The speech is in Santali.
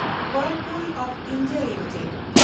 ᱦᱮᱱᱰᱞᱯᱩᱞ ᱚᱯᱷ ᱤᱱᱰᱤᱭᱟ ᱞᱤᱢᱤᱴᱮᱰ